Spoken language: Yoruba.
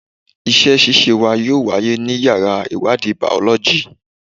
Ìṣe ṣíṣe wa yóò wáyé ní yàrá ìwádìí Bàọ́lọ́jì.